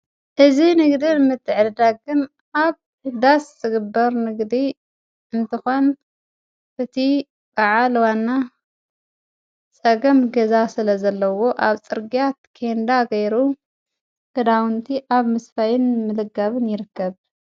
እዚ ንግዲ ምትዕድዳግን ኣብ ዳስ ዝግበር ንግዲ እንትኾን እቲ በዓል ዋና ፀገም ገዛ ስለ ዘለዎ አብ ፅርግያ ኬንዳ ገይሩ ክዳዉንቲ ኣብ ምስፋይን ምልጋብን ይርከብ።